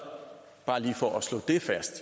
bare lige for at slå det fast